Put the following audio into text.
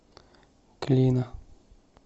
клина